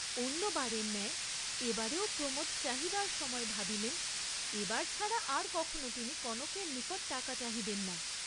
অন্যবারের ন্যায় এবারেও প্রমোদ চাহিবার সময় ভাবিলেন এবার ছাড়া আর কখনও তিনি কনকের নিকট টাকা চাহিবেন না।